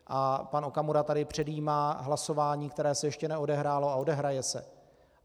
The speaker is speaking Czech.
A pan Okamura tady předjímá hlasování, které se ještě neodehrálo a odehraje se.